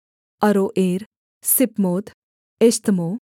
अरोएर सिपमोत एश्तमो